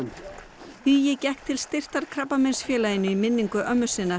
hugi gekk til styrktar Krabbameinsfélaginu í minningu ömmu sinnar